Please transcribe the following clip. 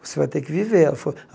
Você vai ter que viver. Ela falou